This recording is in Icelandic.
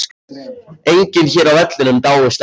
Enginn hér á vellinum dáist að þér.